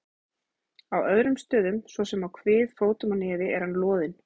Á öðrum stöðum, svo sem á kvið, fótum og nefi er hann loðinn.